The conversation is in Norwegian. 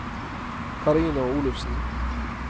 Karina Olufsen